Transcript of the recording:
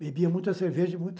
Bebia muita cerveja, muita